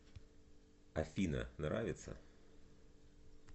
афина нравится